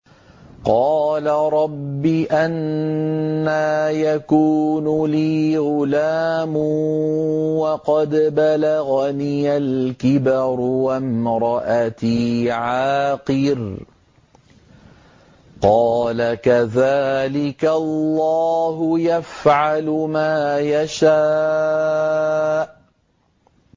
قَالَ رَبِّ أَنَّىٰ يَكُونُ لِي غُلَامٌ وَقَدْ بَلَغَنِيَ الْكِبَرُ وَامْرَأَتِي عَاقِرٌ ۖ قَالَ كَذَٰلِكَ اللَّهُ يَفْعَلُ مَا يَشَاءُ